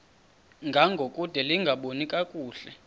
ngangokude lingaboni kakuhle